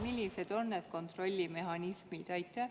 Millised on need kontrollimehhanismid?